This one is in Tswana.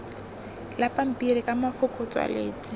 la pampiri ka mafoko tswaletswe